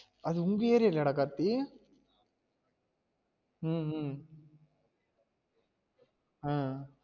அது உங்க area லயாஹ் டா கார்த்தி உம் உம் அஹ்